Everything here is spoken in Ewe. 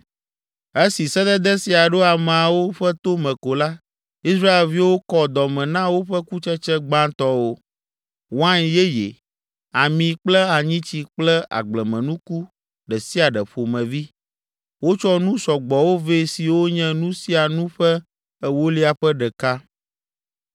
Esi sedede sia ɖo ameawo ƒe tome ko la, Israelviwo kɔ dɔme na woƒe kutsetse gbãtɔwo, wain yeye, ami kple anyitsi kple agblemenuku ɖe sia ɖe ƒomevi. Wotsɔ nu sɔgbɔwo vɛ siwo nye nu sia nu ƒe ewolia ƒe ɖeka.